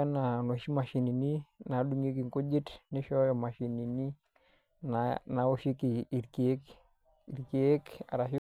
anaa tookuna mashini nadungieki nkujit nishooyo mashinini naoshieki irkeek.